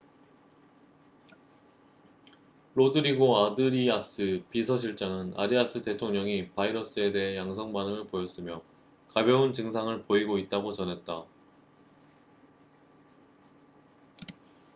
로드리고 아드리아스 비서실장은 아리아스 대통령이 바이러스에 대해 양성 반응을 보였으며 가벼운 증상을 보이고 있다고 전했다